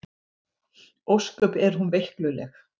Ósköp er hún veikluleg.